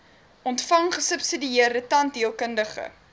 ontvang gesubsidieerde tandheelkundige